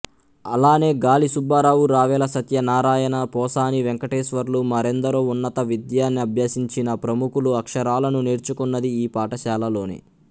అలానే గాలి సుబ్బారావు రావెల సత్యనారాయణ పోసాని వెంకటేశ్వర్లు మరెందరో ఉన్నత విద్యనభ్యసించిన ప్రముఖులు అక్షరాలను నేర్చుకున్నది ఈ పాఠశాలలోనే